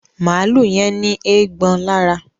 Maalu yén ní Eégbọn lára